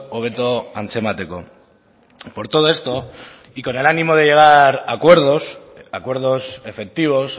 hobeto antzemateko por todo esto y con el ánimo de llegar a acuerdos acuerdos efectivos